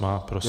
Má, prosím.